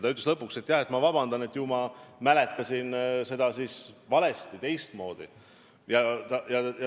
Ta ütles lõpuks, et palub vabandust, et ju ta mäletas seda siis teistmoodi.